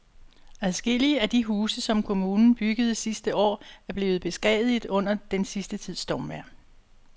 Adskillige af de huse, som kommunen byggede sidste år, er blevet beskadiget under den sidste tids stormvejr.